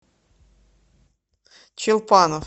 челпанов